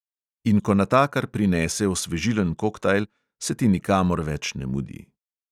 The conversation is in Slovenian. In ko natakar prinese osvežilen koktajl, se ti nikamor več ne mudi.